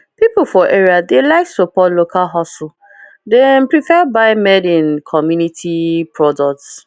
people for area dey like support local hustle dem prefer buy madeincommunity products